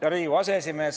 Hea Riigikogu aseesimees!